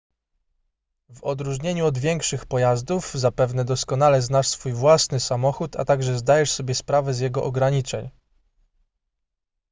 w odróżnieniu od większych pojazdów zapewne doskonale znasz swój własny samochód a także zdajesz sobie sprawę z jego ograniczeń